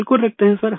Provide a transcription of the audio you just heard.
बिल्कुल रखते है सर